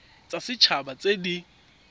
tsa set haba tse di